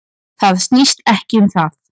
Það snýst ekkert um það.